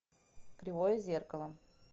кривое зеркало